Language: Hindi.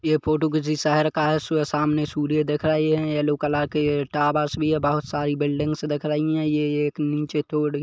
ये फोटो किसी शहर का है सु सामने सूर्य दिख रही है येल्लो कलर के टावरस भी बहुत सारी बिल्डिंग्स दिख रही है ये-- ये एक निचे थोड़ी--